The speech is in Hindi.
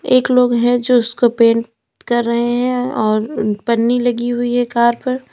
एक लोग है जो उसको पेंट कर रहे है और पन्नी लगी हुई है कार पर।